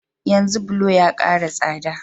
Yanzu bulo ya kara tsada